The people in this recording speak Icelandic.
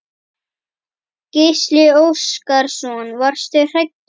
Gísli Óskarsson: Varstu hræddur?